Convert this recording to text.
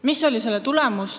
Mis oli selle tulemus?